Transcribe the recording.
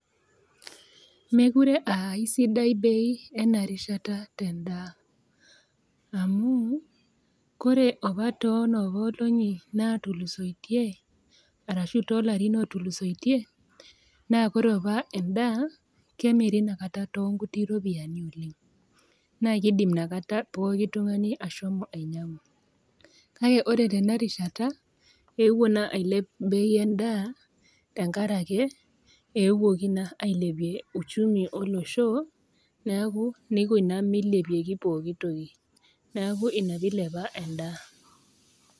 Mekuree aa aisidai bei ena rishata tendaa, amu ore opa too inoopa olong'i naatulusoiye arashu too ilarin ootulusoitie, naa ore opa endaa naa kemiri Ina kata too inkuti ropiani oleng', naa keidim inakata pooki tung'ani inakata ainyang'u, kake ore tena rishata epuo ailep inakata Ina bei endaa enkaraki eetuoki ailepie uchumi olosho neaku Ina naa naikuna meilepa endaa.